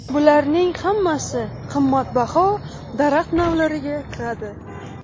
Bularning hammasi qimmatbaho daraxt navlariga kiradi.